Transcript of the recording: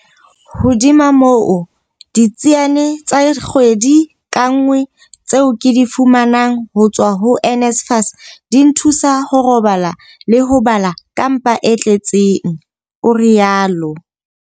Hodima moo, ditsiane tsa kgwedi ka nngwe tseo ke di fumanang ho tswa ho NSFAS di nthusa ho robala le ho bala ka mpa e tle tseng, o rialo.